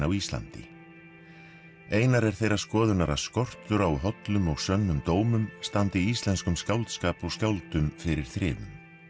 á Íslandi einar er þeirrar skoðunar að skortur á hollum og sönnum dómum standi íslenskum skáldskap og skáldum fyrir þrifum